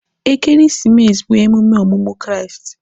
Ekeresimesi bụ emume ọmụmụ Kraịst.